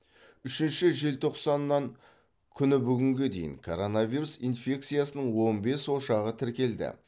үшінші желтоқсаннан күні бүгінге дейін коронавирус инфекциясының он бес ошағы тіркелді